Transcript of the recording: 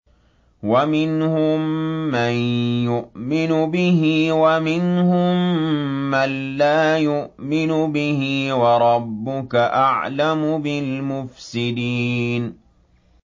وَمِنْهُم مَّن يُؤْمِنُ بِهِ وَمِنْهُم مَّن لَّا يُؤْمِنُ بِهِ ۚ وَرَبُّكَ أَعْلَمُ بِالْمُفْسِدِينَ